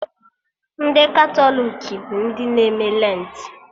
Ndị Katọlik bụ ndị na-eme Lentị